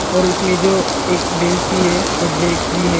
और उसमें जो एक बेंच भी है और डेस्क भी है।